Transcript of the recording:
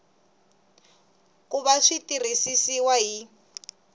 ku va swi tirhisiwa hi